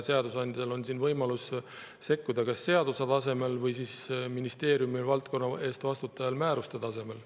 Seadusandjal on võimalus sekkuda seaduse tasemel või ministeeriumil kui valdkonna eest vastutajal määruse tasemel.